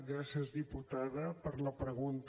gràcies diputada per la pregunta